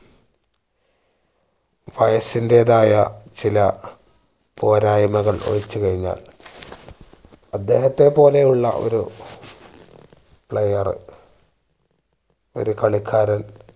വയസ്സിന്റെതായ ചില പോരായ്മകൾ ഒഴിച്ചു കഴിഞ്ഞാൽ അദ്ദേഹത്തെ പോലെ ഉള്ള ഒരു player ഒരു കളിക്കാരൻ